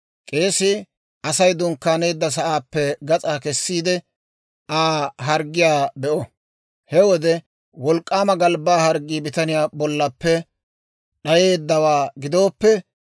K'eesii Asay dunkkaaneedda sa'aappe gas'aa kesiide, Aa harggiyaa be'o. He wode wolk'k'aama galbbaa harggii bitaniyaa bollaappe d'ayeeddawaa gidooppe,